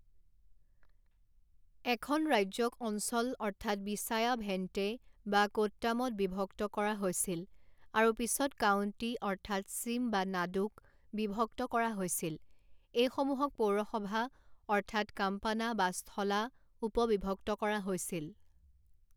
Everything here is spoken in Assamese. এখন ৰাজ্যক অঞ্চল অৰ্থাৎ বিশায়া ভেণ্টে বা কোট্টামত বিভক্ত কৰা হৈছিল আৰু পিছত কাউণ্টি অৰ্থাৎ চিম বা নাডুক বিভক্ত কৰা হৈছিল এইসমূহক পৌৰসভা অৰ্থাৎ কাম্পানা বা স্থলা উপবিভক্ত কৰা হৈছিল।